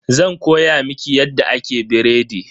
Zan koya miki yadda ake biredi.